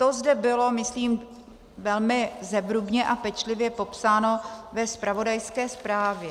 To zde bylo, myslím, velmi zevrubně a pečlivě popsáno ve zpravodajské zprávě.